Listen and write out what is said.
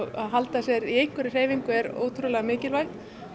að halda sér í einhverri hreyfingu er ótrúlega mikilvægt